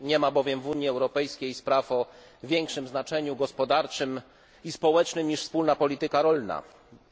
Nie ma bowiem w Unii Europejskiej spraw o większym znaczeniu gospodarczym i społecznym niż wspólna polityka rolna,